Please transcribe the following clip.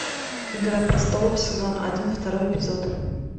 игра престолов сезон один второй эпизод